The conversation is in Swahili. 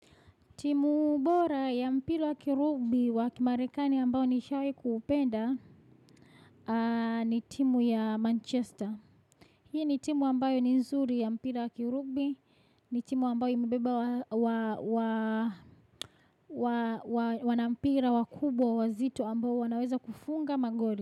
Timu bora ya mpira wa kirubi wa kimarekani ambayo nishawahi kuupenda ni timu ya Manchester. Hii ni timu ambayo ni nzuri ya mpira wa kirubi, ni timu ambayo imebeba wanampira wakubwa wazito ambao wanaweza kufunga magoli.